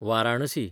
Varanasi